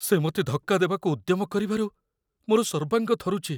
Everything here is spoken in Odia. ସେ ମୋତେ ଧକ୍କା ଦେବାକୁ ଉଦ୍ୟମ କରିବାରୁ ମୋର ସର୍ବାଙ୍ଗ ଥରୁଛି।